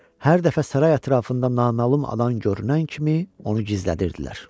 Hər dəfə saray ətrafında naməlum adam görünən kimi onu gizlədirdilər.